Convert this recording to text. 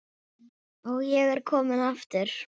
Og ég er kominn aftur!